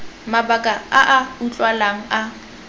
mabaka a a utlwalang a